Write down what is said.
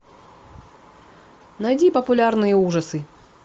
найди популярные ужасы